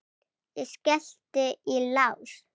Ég skellti í lás.